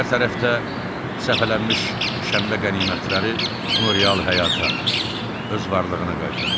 Hər tərəfdə səpələnmiş şənbə qənimətləri onu real həyata, öz varlığına qaytardı.